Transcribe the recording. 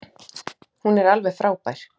Hún er alveg frábær.